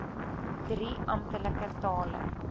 drie amptelike tale